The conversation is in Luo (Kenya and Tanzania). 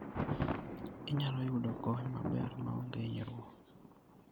Inyalo yudo kony maber maonge hinyruok.